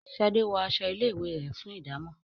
Shade wón aṣọ ilé ìwé rẹ, fún ìdámò.